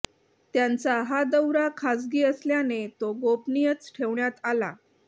त्यांचा हा दौरा खासगी असल्याने तो गोपनियच ठेवण्यात आला